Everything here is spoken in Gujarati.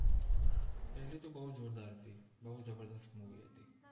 પેલિ તો બૌ જોરદાર હતિ બૌ જબરજસ્ત મુવિ હતિ